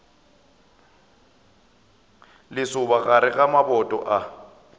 lešoba gare ga maboto a